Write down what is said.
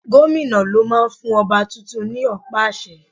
Gómìnà ló máa ń fún ọba tuntun ní ọ̀pá àṣẹ.